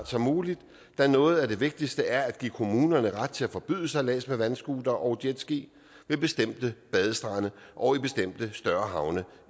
som muligt da noget af det vigtigste er at give kommunerne ret til at forbyde sejlads med vandscootere og jetski ved bestemte badestrande og i bestemte større havne